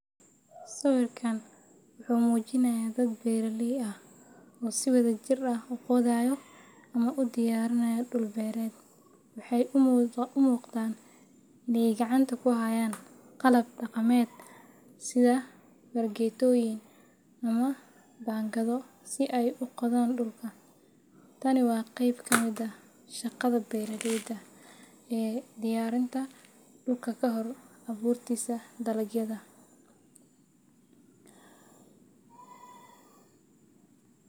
Sawirka wuxuu muujinayaa dad beeraley ah oo si wadajir ah u qodayo ama u diyaarinaya dhul beereed. Waxay u muuqdaan inay gacanta ku hayaan qalab dhaqameed sida fargeetooyin ama baangado si ay u qodaan dhulka. Tani waa qayb ka mid ah shaqada beeralayda ee diyaarinta dhulka kahor abuurista dalagyada.